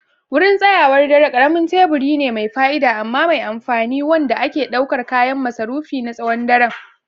Wurin tsayawar dare ƙaramin teburi ne mai fa'ida amma mai amfani wanda ke ɗaukar kayan masarufi na tsawon daren.